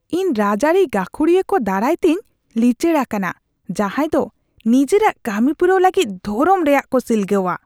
ᱤᱧ ᱨᱟᱡᱽ ᱟᱹᱨᱤ ᱜᱟᱹᱠᱷᱩᱲᱤᱭᱟᱹ ᱠᱚ ᱫᱟᱨᱟᱭᱛᱮᱧ ᱞᱤᱪᱟᱹᱲ ᱟᱠᱟᱱᱟ ᱡᱟᱦᱟᱸᱭᱫᱚ ᱱᱤᱡᱮᱨᱟᱜ ᱠᱟᱹᱢᱤᱯᱩᱨᱟᱹᱣ ᱞᱟᱹᱜᱤᱫ ᱫᱷᱚᱨᱚᱢ ᱨᱮᱭᱟᱜ ᱠᱚ ᱥᱤᱞᱜᱟᱹᱣᱟ ᱾